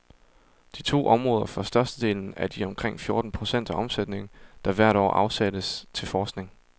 De to områder får størstedelen af de omkring fjorten procent af omsætningen, der hvert år afsættes til forskning.